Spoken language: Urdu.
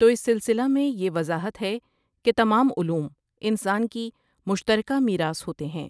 تو اس سلسلہ میں یہ وضاحت ہے کہ تمام علوم انسان کی مشترکہ میراث ہوتے ہیں۔